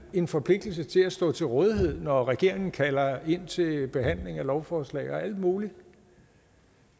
en forpligtelse til at stå til rådighed når regeringen kalder ind til behandling af lovforslag og alt muligt